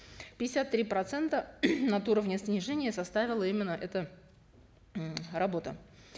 пятьдесят три процента от уровня снижения составила именно эта м работа